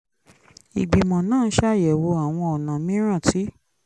ìgbìmọ̀ náà ń ṣàyẹ̀wò àwọn ọ̀nà mìíràn tí